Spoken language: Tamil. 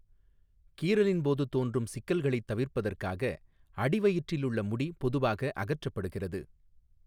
கீறலின் போது தோன்றும் சிக்கல்களைத் தவிர்ப்பதற்காக அடிவயிற்றிலுள்ள முடி பொதுவாக அகற்றப்படுகிறது.